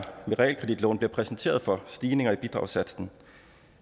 med realkreditlån bliver præsenteret for stigninger i bidragssatsen